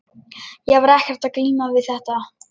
Ég var ekkert að glíma við þetta.